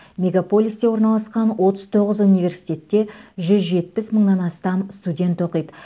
мегаполисте орналасқан отыз тоғыз университетте жүз жетпіс мыңнан астам студент оқиды